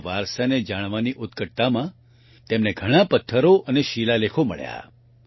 તેમના વારસાને જાણવાની જીજ્ઞાસામાં તેમને ઘણા પથ્થરો અને શિલાલેખો મળ્યા